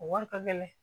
O wari ka gɛlɛn